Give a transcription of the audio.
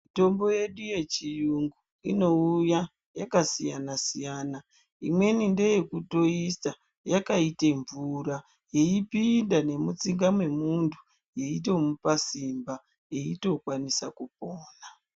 Mitombo yedu yechi yungu ino uya yaka siyana siyana imweni ndeye kuto isa yaka ite mvura yei pinda ne mutsinga mwe muntu yei tomupa simba eito kwanisa kupona.